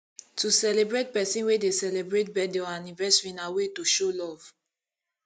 to celebrate persin wey de celebrate birthday or anniversary na way to show love